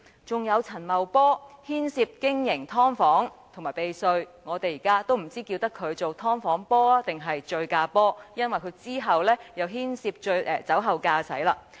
還有陳茂波涉及經營"劏房"和避稅，令我們不知應稱呼他為"劏房波"還是"醉駕波"，因為他之後又涉及酒後駕駛。